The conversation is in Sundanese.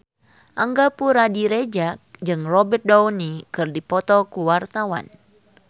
Angga Puradiredja jeung Robert Downey keur dipoto ku wartawan